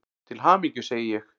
Til hamingju, segi ég.